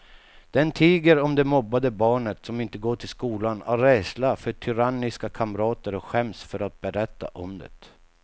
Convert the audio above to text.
Den tiger om det mobbade barnet som inte går till skolan av rädsla för tyranniska kamrater och skäms för att berätta om det.